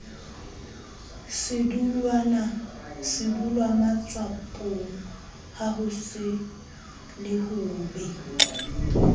sedulwamatswapong ha ho le hobe